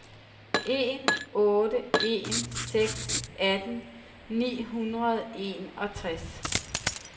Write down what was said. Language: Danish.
en otte en seks atten ni hundrede og enogtres